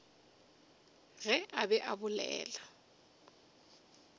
ge a be a bolela